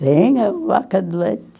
Tinha vaca de leite.